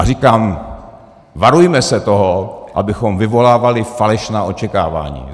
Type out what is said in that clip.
A říkám, varujme se toho, abychom vyvolávali falešná očekávání.